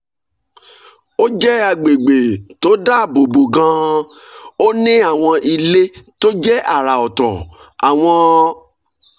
ó jẹ́ àgbègbè tó dáàbò bo gan-an ó ní àwọn ilé tó jẹ́ àrà ọ̀tọ̀ àwọn